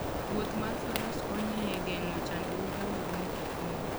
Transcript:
Wuoth mar Faras konyo e geng'o chandruoge mag mtokni.